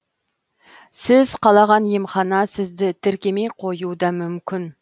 сіз қалаған емхана сізді тіркемей қоюуы да мүмкін